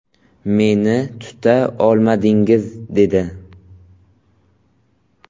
Meni tuta olmadingiz”, dedi.